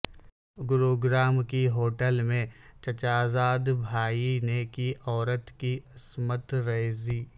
گروگرام کی ہوٹل میں چچازاد بھائی نے کی عورت کی عصمت ریزی